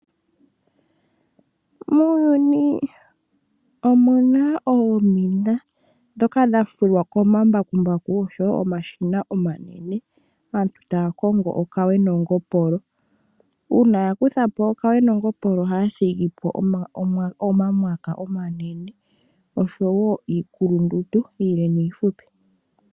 Muuyuni omuna oomina ndhoka dhafulwa komambakumbaku noshowoo komashina omanene aantu tayakongo okawe nongopolo, uuna yakuthamo okawe nongopolo ohaya thigipo omamwaka omanene, oshowo iikulundundu, iile niifupi.